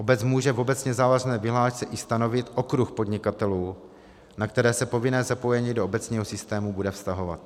Obec může v obecně závazné vyhlášce i stanovit okruh podnikatelů, na které se povinné zapojení do obecního systému bude vztahovat.